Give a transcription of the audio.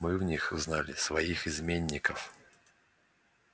мы в них узнали своих изменников